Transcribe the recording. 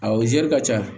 Awɔ zɛri ka ca